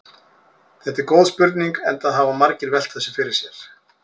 Þetta er góð spurning enda hafa margir velt þessu fyrir sér.